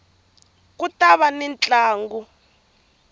ku ta va ni ntlangu